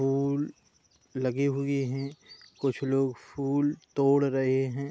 फूल लगे हुए है। कुछ लोग फूल तोड़ रहे है।